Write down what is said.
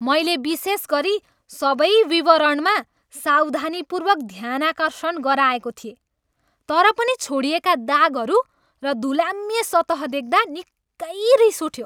मैले विशेषगरी सबै विवरणमा सावधानीपूर्वक ध्यानाकर्षण गराएको थिएँ तर पनि छोडिएका दागहरू र धुलाम्य सतह देख्दा निकै रिस उठ्यो।